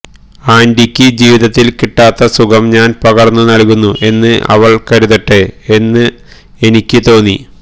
ആന്റിയ്ക്ക് ജീവിതത്തില് കിട്ടാത്ത സുഖം ഞാന് പകര്ന്നു നല്കുന്നു എന്ന് അവള് കരുതട്ടെ എന്ന് എനിക്ക് തോന്നി